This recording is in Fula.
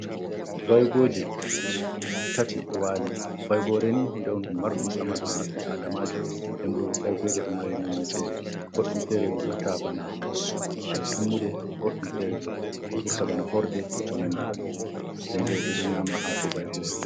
Vaygoje tati do wali, vaygore ni hunde won ɗum marɗum saman ha ɓi’adamajo, dembo baygoje ɗo mari nonne, fere joɗɗum fere bo vurta bana tummude, goɗɗum fere bo vurta bana horde e ko nandi banni, dembo ɓe ɗo nyama hako baygore.